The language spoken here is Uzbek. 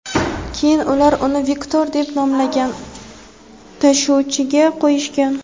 Keyin ular uni "vektor" deb nomlangan tashuvchiga qo‘yishgan.